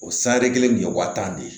O sanere kelen nin ye waa tan de ye